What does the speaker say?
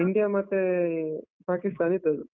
India ಮತ್ತೇ Pakistan ಇದದ್ದು.